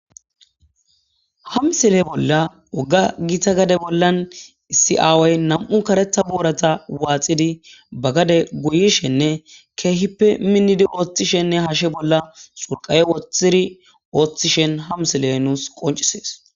Ha misile bolla woogga gitta gadde bolla issi aaway nam'u kareththa boorata waaxxidii ba gadde gooyishenne keehippe miinnidi oththishe haase bolla xurqaye wooththidii ooththishin ha misiley nuus qonccises